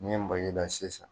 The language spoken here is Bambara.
Nin ye make da sisan.